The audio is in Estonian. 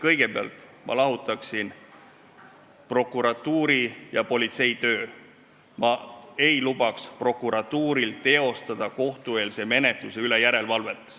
Kõigepealt lahutaksin ma prokuratuuri ja politsei töö, ma ei lubaks prokuratuuril teha kohtueelse menetluse üle järelevalvet.